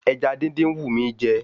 Ẹja dídín ń wù mí jẹ